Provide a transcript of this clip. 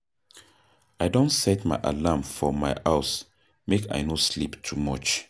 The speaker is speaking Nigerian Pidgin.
I don set my alarm for my house make I no sleep too much.